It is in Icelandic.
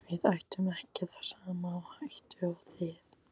Við ættum ekki það sama á hættu og þið.